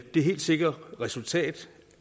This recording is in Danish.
det helt sikre resultat